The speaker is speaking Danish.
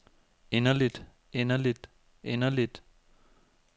inderligt inderligt inderligt